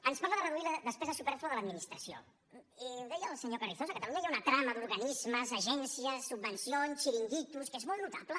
ens parla de reduir la despesa supèrflua de l’administració i ho deia el senyor carrizosa a catalunya hi ha una trama d’organismes agències subvencions xiringuitos que és molt notable